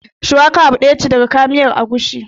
Shuwaka abu ɗaya ce daga kayan miyar agushi